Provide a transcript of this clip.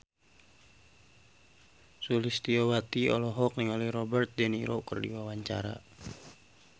Sulistyowati olohok ningali Robert de Niro keur diwawancara